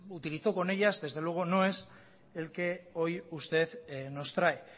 utilizó con ellas desde luego no es el que hoy usted nos trae